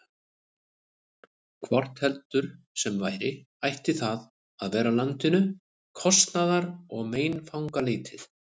Hvort heldur sem væri, ætti það að vera landinu kostnaðar- og meinfangalítið.